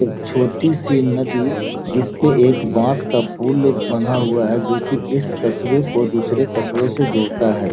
एक छोटी सी नदी जिसपे एक बांस का पूल बना हुआ है जो की इस कस्बे को दूसरे कस्बे से जोड़ता है।